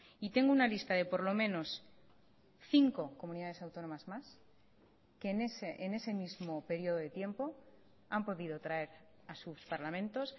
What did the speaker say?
y tengo una lista de por lo menos cinco comunidades autónomas más que en ese mismo periodo de tiempo han podido traer a sus parlamentos